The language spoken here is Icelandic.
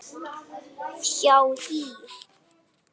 hjá HÍ.